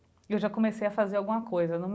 E eu já comecei a fazer alguma coisa eu não